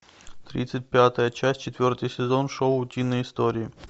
тридцать пятая часть четвертый сезон шоу утиные истории